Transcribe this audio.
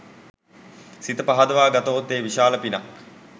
සිත පහදවා ගතහොත් එය විශාල පිනක්.